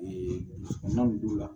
n'an b'o la